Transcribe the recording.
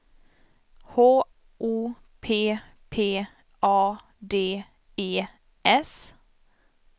H O P P A D E S